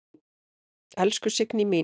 Elsku Signý mín.